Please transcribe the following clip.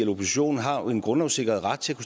oppositionen har jo en grundlovssikret ret til at